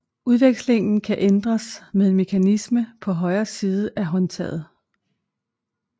Udvekslingen kan ændres med en mekanisme på højre side af håndtaget